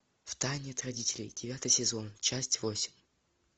в тайне от родителей девятый сезон часть восемь